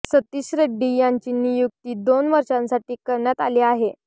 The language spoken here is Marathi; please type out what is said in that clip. सतीश रेड्डी यांची नियुक्ती दोन वर्षांसाठी करण्यात आली आहे